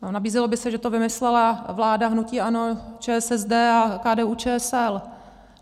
Nabízelo by se, že to vymyslela vláda hnutí ANO, ČSSD a KDU-ČSL.